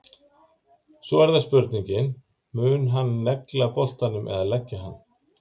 Svo er það spurningin, mun hann negla boltanum eða leggja hann?